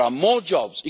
There are more jobs.